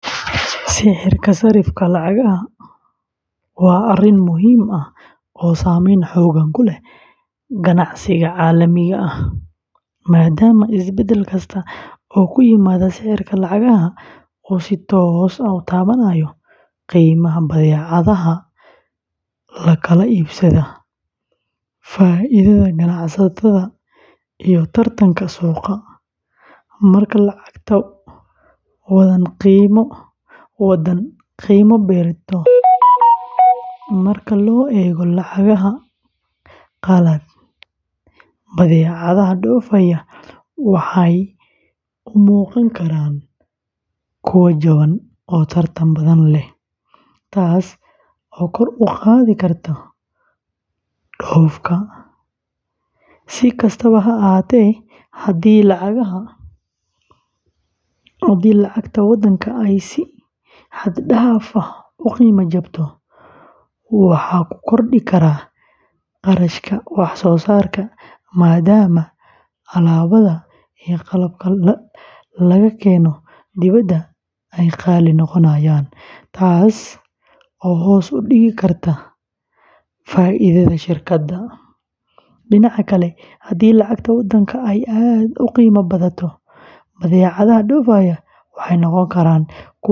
Sicirka sarrifka lacagaha waa arrin muhiim ah oo saameyn xooggan ku leh ganacsiga caalamiga ah, maadaama isbedel kasta oo ku yimaada sicirka lacagaha uu si toos ah u taabanayo qiimaha badeecadaha la kala iibsado, faa’iidada ganacsatada, iyo tartanka suuqa. Marka lacagta waddan qiima beelato marka loo eego lacagaha qalaad, badeecadaha dhoofaya waxay u muuqan karaan kuwo jaban oo tartan badan leh, taas oo kor u qaadi karta dhoofka. Si kastaba ha ahaatee, haddii lacagta waddanka ay si xad dhaaf ah u qiimo jabto, waxa uu kordhi karaa kharashka wax soo saarka maadaama alaabada iyo qalabka laga keeno dibadda ay qaali noqonayaan, taas oo hoos u dhigi karta faa’iidada shirkadaha. Dhinaca kale, haddii lacagta waddanka ay aad u qiimo badato, badeecadaha dhoofaya waxay noqon karaan kuwo qaali ah.